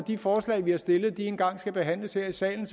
de forslag vi har stillet en gang skal behandles her i salen